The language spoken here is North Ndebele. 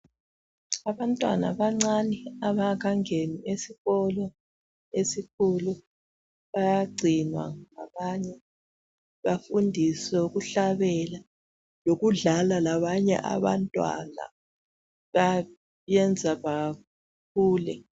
Abantwana abancane abangakangeni esikolo esikhulu bayagcinwa labanye, bafundiswe ukuhlabela loludlala labanye abantwana, kubayenza bakhule.